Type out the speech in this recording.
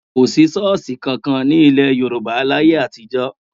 Kò sí ṣọ́ọ̀ṣì kankan ní ilẹ̀ Yorùbá láyé àtijọ́.